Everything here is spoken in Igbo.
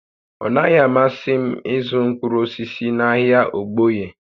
Ọ naghị amasị m ịzụ mkpụrụ osisi n'ahịa Ogboye